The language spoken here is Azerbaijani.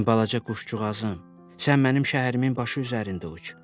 Mənim balaca quşcuğazım, sən mənim şəhərimin başı üzərində uç.